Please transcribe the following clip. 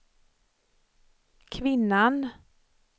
kvinnan